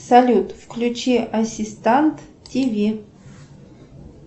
салют включи ассистант тв